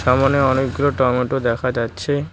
সামোনে অনেকগুলো টমেটো দেখা যাচ্ছে।